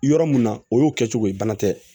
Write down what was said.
Yɔrɔ mun na o y'o kɛ cogo ye bana tɛ